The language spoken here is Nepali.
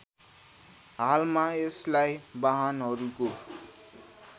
हालमा यसलाई वाहनहरूको